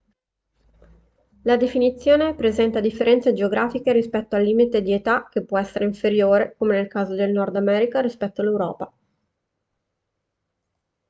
la definizione presenta differenze geografiche rispetto al limite di età che può essere inferiore come nel caso del nord america rispetto all'europa